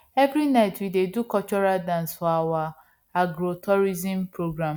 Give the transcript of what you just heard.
every night we dey do cultural dance for our agrotourism program